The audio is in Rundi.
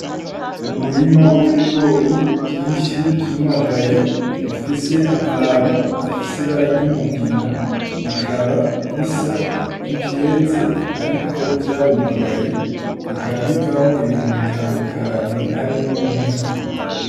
Umurima w'ibigori vyinshi vyumagaye bifise amababi afise ibararyumugina bikaba bisa nkivyeze, ariko vyaromagaye bikaba bivamwo ibintu bitandukanye harimwo nk'ifu.